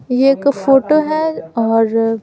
यह एक फोटो है और --